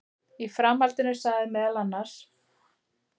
Í framhaldinu sagði meðal annars